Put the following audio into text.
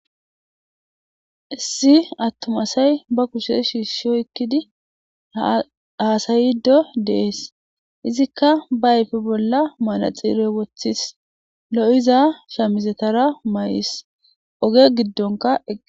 Issi attom asay ba kushe shiishshoy ekkidi haasayiddo dees izikka baayfe bolla maanaxiirey wothis lo'iza shamizetara mayis oge giddonka ege.